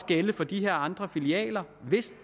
gælde for de her andre filialer